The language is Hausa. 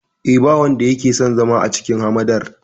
Eh, ba wanda yake son zama a cikin hamadar.